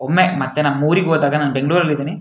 ಒಮ್ಮೆ ಮತ್ತೆ ನಮ್ಮ ಊರಿಗ್ ಹೋದಾಗ ನಾನು ಬೆಂಗಳೂರು ಅಲ್ಲಿ ಇದ್ದೀನಿ --